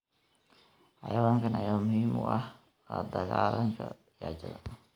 Xayawaankan ayaa muhiim u ah la dagaalanka gaajada.